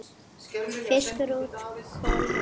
Fiskur út, kol heim.